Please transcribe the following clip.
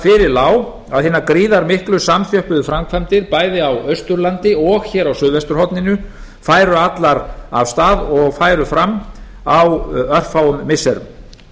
fyrir lá að hinar gríðarmiklu samþjöppuðu framkvæmdir bæði á austurlandi og hér á suðvesturhorninu færu allar af stað og færu fram á örfáum missirum